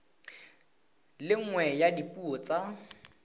le nngwe ya dipuo tsa